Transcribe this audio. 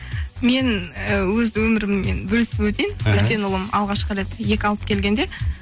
мен і өз өміріммен бөлісіп өтейін іхі үлкен ұлым алғашқы рет екі алып келгенде